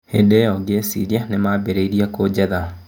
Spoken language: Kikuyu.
Hĩndĩ ĩyo ngĩciria nĩ mambĩrĩria kũnyetha."